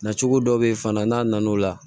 Na cogo dɔ be yen fana n'a nana o la